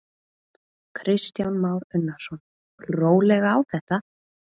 Kristján Már Unnarsson: Rólega á þetta?